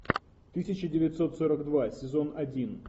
тысяча девятьсот сорок два сезон один